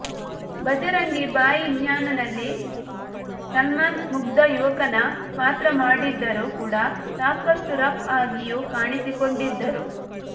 ಭಜರಂಗಿ ಭಾಯಿಜಾನ್ನಲ್ಲಿ ಸಲ್ಮಾನ್ ಮುಗ್ಧ ಯುವಕನ ಪಾತ್ರ ಮಾಡಿದ್ದರೂ ಕೂಡ ಸಾಕಷ್ಟು ರಫ್ ಆಗಿಯೂ ಕಾಣಿಸಿಕೊಂಡಿದ್ದರು